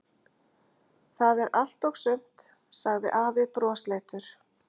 Það er allt og sumt, sagði afi brosleitur.